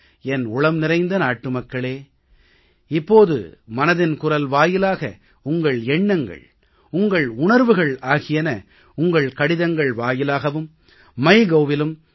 என் உளம் நிறைந்த நாட்டுமக்களே இப்போது மனதின் குரல் வாயிலாக உங்கள் எண்ணங்கள் உங்கள் உணர்வுகள் ஆகியன உங்கள் கடிதங்கள் வாயிலாகவும் myGovஇலும் narendramodiappஇலும் தொடர்ந்து என்னை உங்களோடு இணைத்து வைக்கிறது